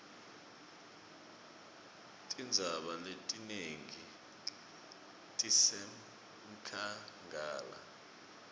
tintsaba letinengi tisenkhangala